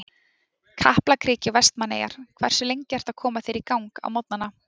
Kaplakriki og Vestmannaeyjar Hversu lengi ertu að koma þér í gang á morgnanna?